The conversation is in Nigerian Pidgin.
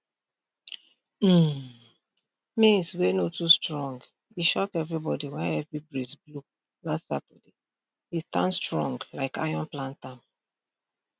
um maize wey no too strong e shock everybody when heavy breeze blow last saturday e stand strong like iron plantam